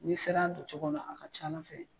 N'i ser'a don cogo la a ka ca Ala fɛ